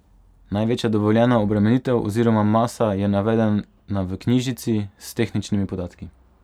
Največja dovoljena obremenitev oziroma masa je navedena v knjižici s tehničnimi podatki.